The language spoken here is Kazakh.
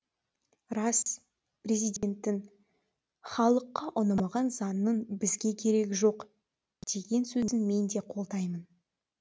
рас президенттің халыққа ұнамаған заңның бізге керегі жоқ деген сөзін мен де қолдаймын